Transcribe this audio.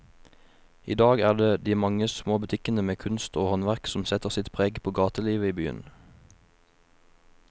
I dag er det de mange små butikkene med kunst og håndverk som setter sitt preg på gatelivet i byen.